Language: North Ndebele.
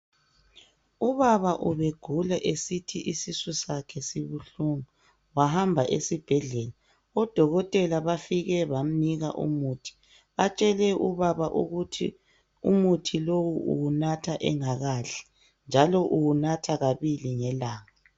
Ubaba ubegula esithi isisu sakhe sibuhlungu wahamba esibhedlela odokotela bafike bamnika umuthi batshele ubaba ukuthi umuthi lowu uwunatha engakadli njalo uwunatha kabili ngelanga.